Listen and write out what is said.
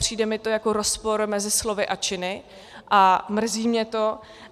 Přijde mi to jako rozpor mezi slovy a činy a mrzí mě to.